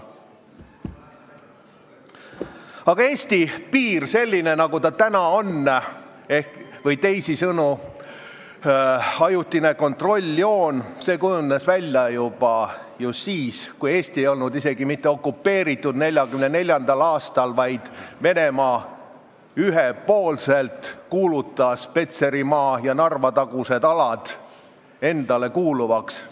Aga Eesti piir – selline, nagu ta täna on – või teisisõnu ajutine kontrolljoon kujunes välja ju siis, kui Eesti ei olnud isegi mitte okupeeritud, vaid Venemaa kuulutas 1944. aastal ühepoolselt Petserimaa ja Narva-tagused alad endale kuuluvaks.